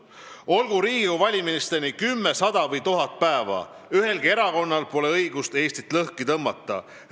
Olgu Riigikogu valimisteni 10, 100 või 1000 päeva, ühelgi erakonnal pole õigust Eestit lõhki tõmmata.